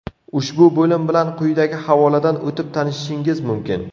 Ushbu bo‘lim bilan quyidagi havoladan o‘tib tanishishingiz mumkin -.